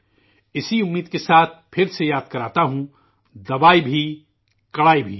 اسی آرزو کے ساتھ پھر سے یاد کراتا ہوں، 'دوائی بھی کڑائی بھی'